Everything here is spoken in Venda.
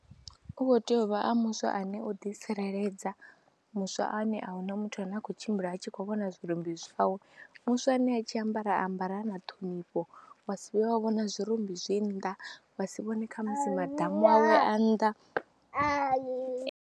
U khou tea u vha ha muswa ane u ḓitsireledza, muswa ane a hu na muthu ane a khou tshimbila a tshi khou vhona zwirumbi zwawe, muswa ane a tshi ambara a ambara na ṱhonifho wa si vhuye wa vhona zwirumbi zwi nnḓa, wa si vhone kha musi maḓamu awe a nnḓa.